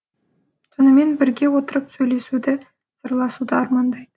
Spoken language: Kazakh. сонымен бірге отырып сөйлесуді сырласуды армандайды